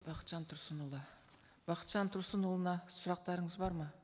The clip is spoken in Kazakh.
бақытжан тұрсынұлы бақытжан тұрсынұлына сұрақтарыңыз бар ма